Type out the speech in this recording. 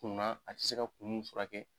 kuma a ti se ka kun min furakɛ.